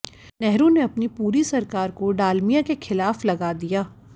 नेहरू ने अपनी पूरी सरकार को डालमिया के खिलाफ लगा दिया